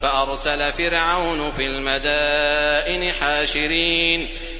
فَأَرْسَلَ فِرْعَوْنُ فِي الْمَدَائِنِ حَاشِرِينَ